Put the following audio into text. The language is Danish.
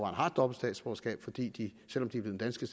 har dobbelt statsborgerskab fordi de selv om de er blevet danske